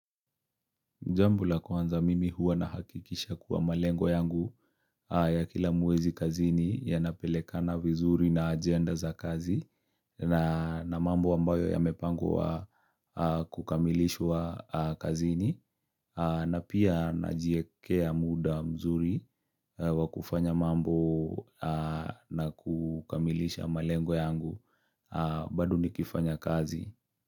Jambo la kwanza mimi huwa na hakikisha kuwa malengo yangu ya kila mwezi kazini ya napeleka na vizuri na agenda za kazi na mambo ambayo ya mepangwa kukamilishwa kazini na pia na jiekea muda mzuri wa kufanya mambo na kukamilisha malengo yangu bado nikifanya kazi.